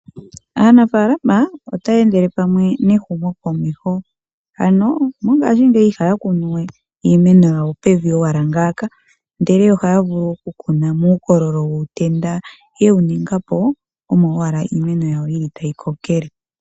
Aanafaalama otaya endele pamwe nehumo komeho, ano mongashingeyi ihaya kunu we iimeno yawo pevi owala ngaaka. Ndele ohaya vulu oku kuna muukololo wuutenda yewu ninga po omo owala iimeno yawo yili tayi kokele.